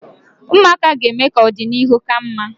Ụmụaka ga-eme ka ọdịnihu ka mma.